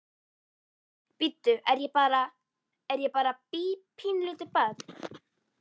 Bíddu, er ég bara, er ég bara bí, pínulítið barn?